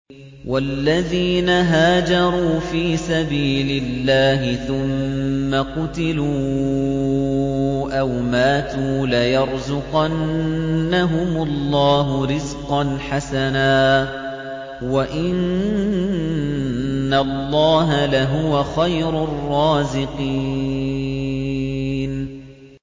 وَالَّذِينَ هَاجَرُوا فِي سَبِيلِ اللَّهِ ثُمَّ قُتِلُوا أَوْ مَاتُوا لَيَرْزُقَنَّهُمُ اللَّهُ رِزْقًا حَسَنًا ۚ وَإِنَّ اللَّهَ لَهُوَ خَيْرُ الرَّازِقِينَ